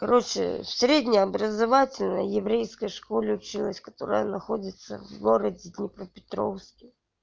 короче в среднеобразовательной еврейской школе училась которая находится в городе днепропетровске